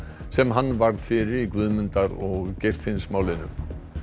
sem hann varð fyrir í Guðmundar og Geirfinnsmálinu